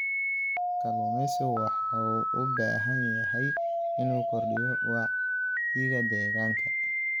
Kalluumeysigu wuxuu u baahan yahay inuu kordhiyo wacyiga deegaanka.